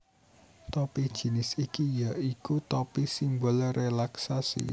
Topi jinis iki ya iku topi simbol rélaksasi